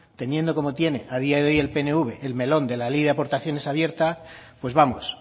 teniendo como tiene a día de hoy el pnv el melón de la ley de aportaciones abierta pues vamos